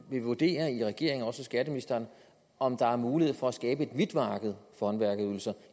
vil vurdere i regeringen også hos skatteministeren om der er mulighed for at skabe et hvidt marked for håndværkerydelser